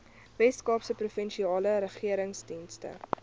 weskaapse provinsiale regeringstenders